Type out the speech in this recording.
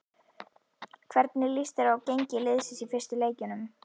Hvernig lýst þér á gengi liðsins í fyrstu leikjunum?